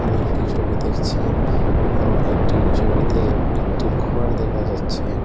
আমি একটি ছবি দেখছি এবং একটি ছবিতে একটি ঘর দেখা যাচ্ছে।